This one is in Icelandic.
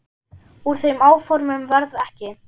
Úr þeim áformum varð ekki.